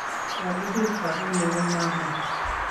kolugui sabuni ko manai